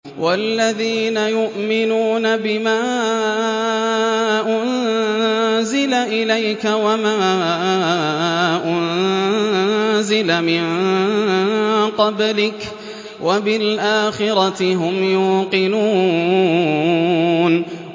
وَالَّذِينَ يُؤْمِنُونَ بِمَا أُنزِلَ إِلَيْكَ وَمَا أُنزِلَ مِن قَبْلِكَ وَبِالْآخِرَةِ هُمْ يُوقِنُونَ